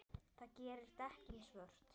Það gerir dekkin svört.